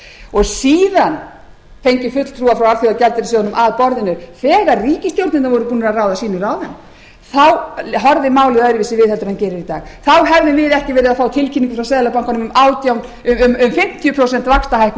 og síðan fengið fulltrúa frá alþjóðagjaldeyrissjóðnum að borðinu þegar ríkisstjórnirnar voru búnar að ráða sínum ráðum þá horfði málið öðruvísi við heldur en það gerir í dag þá hefðum við ekki verið að fá tilkynningu frá seðlabankanum um fimmtíu prósent